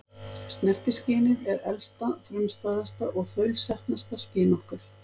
Snertiskynið er elsta, frumstæðasta og þaulsetnasta skyn okkar.